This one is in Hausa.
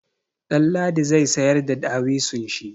Ɗanladi zai sayar da dawisun shi.